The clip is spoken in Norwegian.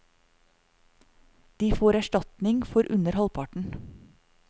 De får erstatning for under halvparten.